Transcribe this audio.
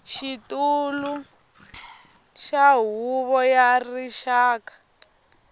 xitulu wa huvo ya rixaka